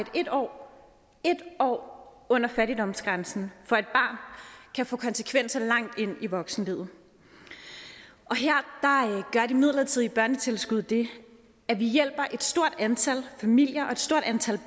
et år år under fattigdomsgrænsen kan få konsekvenser barn langt ind i voksenlivet her gør de midlertidige børnetilskud det at vi hjælper et stort antal familier og stort antal